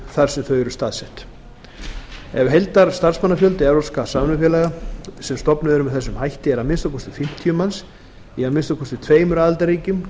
þar sem þau eru staðsett ef heildarstarfsmannafjöldi evrópskra samvinnufélaga sem stofnuð eru með þessum hætti er að minnsta kosti fimmtíu manns í að minnsta kosti tveimur aðildarríkjum